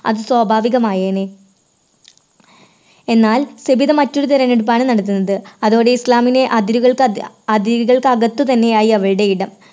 അത് സ്വാഭാവികമായെനെ. എന്നാൽ സബിത മറ്റൊരു തിരഞ്ഞെടുപ്പാണ് നടത്തുന്നത് അതോടെ ഇസ്ലാമിലെ അതിരുകൾ അക അതിരുകൾക്ക് അകത്തു തന്നെയായി അവരുടെ ഇടം.